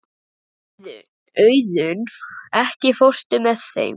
Auðunn, ekki fórstu með þeim?